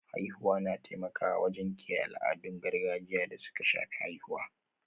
Haihuwa na taimakawa wajen kiyaye al'adun gargajiya da suka shafi haihuwa.